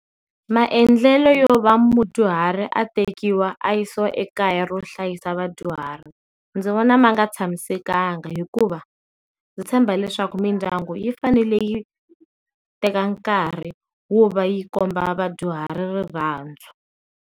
Maendlelo yo va mudyuharhi a tekiwa a yisiwa ekaya ro hlayisa vadyuhari ndzi vona ma nga tshamisekanga hikuva ndzi tshemba leswaku mindyangu yi fanele yi teka nkarhi wo va yi komba vadyuhari rirhandzu.